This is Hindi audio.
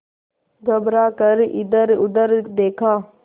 घबरा कर इधरउधर देखा